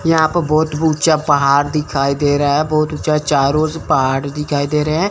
यहां प बहोत ऊंचा पहाड़ दिखाई दे रहा है बहोत ऊंचा चारों ओर से पहाड़ दिखाई दे रहा है।